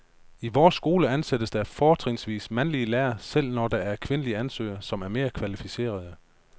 I vores skole ansættes der fortrinsvis mandlige lærere, selv når der er kvindelige ansøgere, som er mere kvalificerede.